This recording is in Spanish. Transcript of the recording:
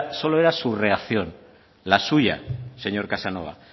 solo era su reacción la suya señor casanova